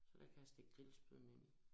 Så der kan jeg stikke grillspydene ind